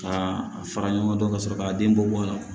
Ka a fara ɲɔgɔn kan ka sɔrɔ ka den bɔ bɔ